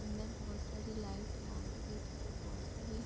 अन्दर बहोत सारी लाइट है आगे देखे तो बहोत सारे --